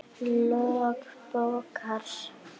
Lok bókar